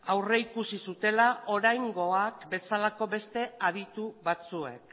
aurrikusi zutela oraingoa bezalako beste aditu batzuek